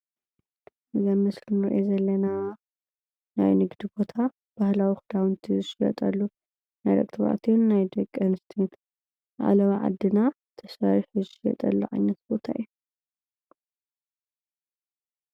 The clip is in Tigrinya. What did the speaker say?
እዚ ምስሊ ንሪኦ ዘለና ናይ ንግዲ ቦታ ባህላዊ ክዳውንቲ ዝሽየጠሉ ናይ ደቂ ተባዕትዮን ናይ ደቂ ኣንስትዮን ዓለባ ዓድና ተሰሪሑ ዝሽየጠሉ ዓይነት ቦታ እዩ፡፡